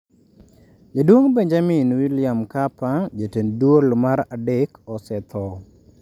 Jaduong' Benjamin William Mkapa Jatend duol mar adek osetho.